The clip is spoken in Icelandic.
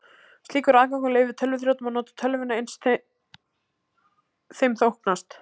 Slíkur aðgangur leyfir tölvuþrjótum að nota tölvuna eins þeim þóknast.